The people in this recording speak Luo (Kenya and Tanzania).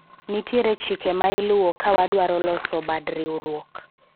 nitiere chike ma iluwo ka wadwaro loso bad riwruok